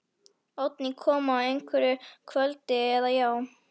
Oddný kom á hverju kvöldi, eða, já.